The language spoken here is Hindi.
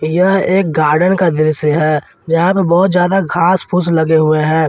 यह एक गार्डन का दृश्य है जहां पर बहुत ज्यादा घास फूस लगे हुए हैं ।